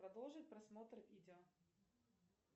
продолжить просмотр видео